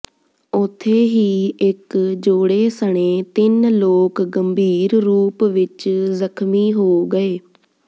ਉਥੇ ਹੀ ਇੱਕ ਜੋੜੇ ਸਣੇ ਤਿੰਨ ਲੋਕ ਗੰਭੀਰ ਰੂਪ ਵਿੱਚ ਜ਼ਖਮੀ ਹੋ ਗਏ